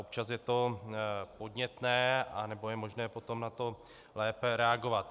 Občas je to podnětné a nebo je možné potom na to lépe reagovat.